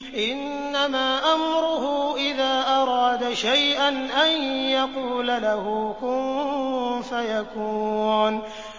إِنَّمَا أَمْرُهُ إِذَا أَرَادَ شَيْئًا أَن يَقُولَ لَهُ كُن فَيَكُونُ